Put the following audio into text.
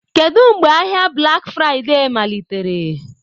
Kedu mgbe ahịa Black Friday malitere?